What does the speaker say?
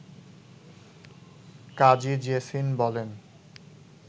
কাজী জেসিন বলেন